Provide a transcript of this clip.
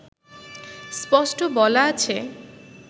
স্পষ্ট বলা আছে